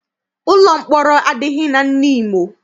Ụlọ mkpọrọ adịghị na Nimo.